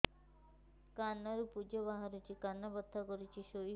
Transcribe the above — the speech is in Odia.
କାନ ରୁ ପୂଜ ବାହାରୁଛି କାନ ବଥା କରୁଛି ଶୋଇ ହେଉନାହିଁ